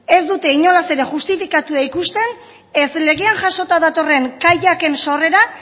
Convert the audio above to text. ez dute inolaz ere justifikatua ikusten ez legean jasota datorren kaiak en sorrera